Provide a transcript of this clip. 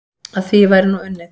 Að því væri nú unnið.